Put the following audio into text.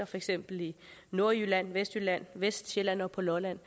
for eksempel nordjylland vestjylland vestsjælland og på lolland